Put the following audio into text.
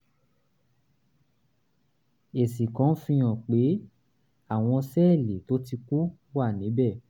èsì kan fihàn pé àwọn sẹ́ẹ̀lì tó ti kú wà níbẹ̀